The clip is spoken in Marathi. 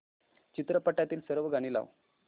चित्रपटातील सर्व गाणी लाव